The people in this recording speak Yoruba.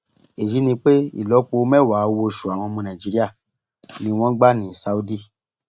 èyí ni pé ìlọpo mẹwàá owóoṣù àwọn ọmọ nàìjíríà ni wọn ń gbà ní saudi